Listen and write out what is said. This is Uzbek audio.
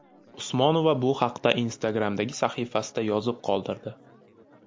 Usmonova bu haqda Instagram’dagi sahifasida yozib qoldirdi.